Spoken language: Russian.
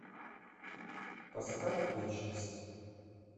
поставь вечность